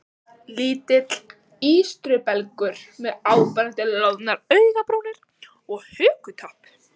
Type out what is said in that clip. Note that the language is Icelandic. Lítill ístrubelgur með áberandi loðnar augnabrúnir og hökutopp.